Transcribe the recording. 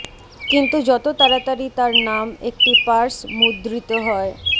কিন্তু যত তাড়াতাড়ি তার নাম একটি পার্স মুদ্রিত হয়